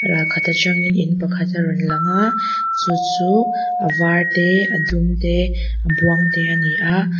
kal khat atangin in pakhat a rawn lang a chu chu a var te a dum te a buang te ani aa.